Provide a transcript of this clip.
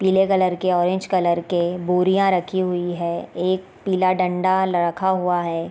पीले कलर के orange colour के बोरियाँ रखी हुई है एक पीला डंडा लखा हुआ है।